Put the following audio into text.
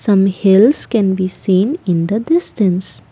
some hills can be seen in the distance.